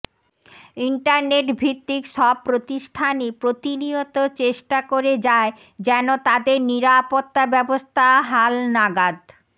ইন্টারনেটভিত্তিক সব প্রতিষ্ঠানই প্রতিনিয়ত চেষ্টা করে যায় যেন তাদের নিরাপত্তা ব্যবস্থা হালনাগাদ